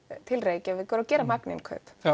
til Reykjavíkur og gera magninnkaup